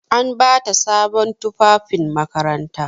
An ba ta sabon tufafin makaranta.